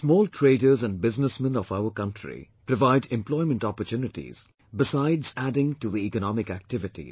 Small traders and businessmen of our country provide employment opportunities besides adding to the economic activities